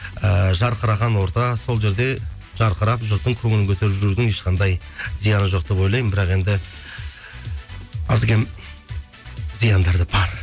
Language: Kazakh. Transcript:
ііі жарқыраған орта сол жерде жарқырап жұрттың көңілін көтеріп жүрудің ешқандай зияны жоқ деп ойлаймын бірақ енді аз кем зияндар да бар